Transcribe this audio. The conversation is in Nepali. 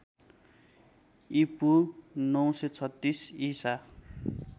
ईपू ९३६ ईसा